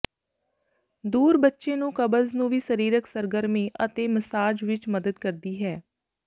ਦੂਰ ਬੱਚੇ ਨੂੰ ਕਬਜ਼ ਨੂੰ ਵੀ ਸਰੀਰਕ ਸਰਗਰਮੀ ਅਤੇ ਮਸਾਜ ਵਿੱਚ ਮਦਦ ਕਰਦੀ ਹੈ